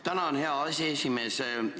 Tänan, hea aseesimees!